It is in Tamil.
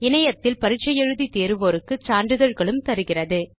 இணையத்தில் பரிட்சை எழுதி தேர்வோருக்கு சான்றிதழ்களும் தருகிறது